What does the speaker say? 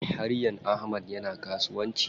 Haryan Ahmad yana kasuwanci.